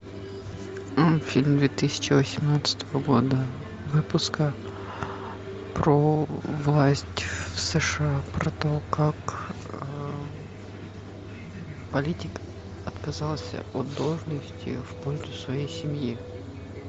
фильм две тысячи восемнадцатого года выпуска про власть в сша про то как политик отказался от должности в пользу своей семьи